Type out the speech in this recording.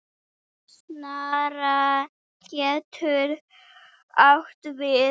Snara getur átt við